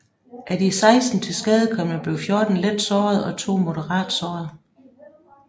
Af de 16 tilskadekomne blev 14 let såret og to moderat såret